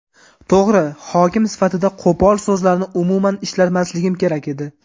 To‘g‘ri, hokim sifatida qo‘pol so‘zlarni umuman ishlatmasligim kerak edi.